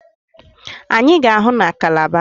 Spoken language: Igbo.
Anyị ga-ahụ na Kalaba.